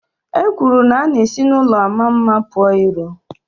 E kwuru na a na-esi n'ụlọ mara mma pụọ ìró